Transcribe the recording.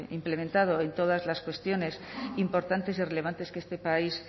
implementado en todas las cuestiones importantes y relevantes que este país